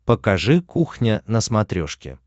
покажи кухня на смотрешке